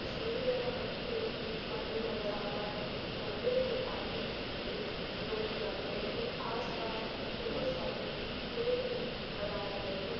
तस्वीर में हमें एक मंदिर नजर आ रहा है मंदिर के आगे एक लोहे का गेट है आसपास बहुत सरे पेड़ भी लगाये गए है।